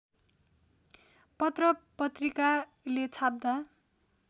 पत्र पत्रिकाले छाप्दा